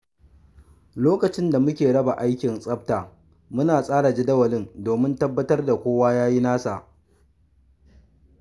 Lokacin da muke raba aikin tsabta, muna tsara jadawali domin tabbatar da kowa ya yi nasa.